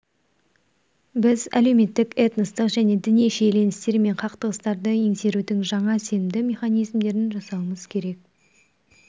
біз әлеуметтік этностық және діни шиеленістер мен қақтығыстарды еңсерудің жаңа сенімді механизмдерін жасауымыз керек